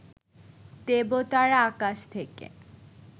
দেবতারা আকাশ থেকে